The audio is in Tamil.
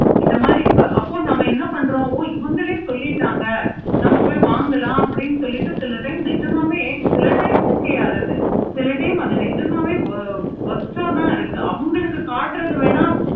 இந்த மாதிரி அப்போ இப்போ என்ன பன்றோம்னா இவுங்களே சொல்லிட்டாங்க நம்ம போய் வாங்கலாம்னு சில time நிஜமாவே சில time okay ஆகுது. சில time நிஜமாவே அது worst ஆஹ் தான் இருக்கு அவுங்களுக்கு காட்டுற வென